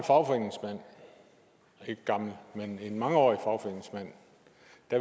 ikke gammel men mangeårig fagforeningsmand